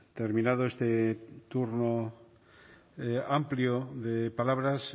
terminado este turno amplio de palabras